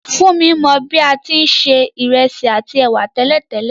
Fúnmi mo bi a ti n se ìrẹsì àtí èwà tẹ̀lẹ́tẹ̀lẹ́